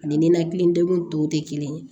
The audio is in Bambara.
Ani ninakili degun tɔw tɛ kelen ye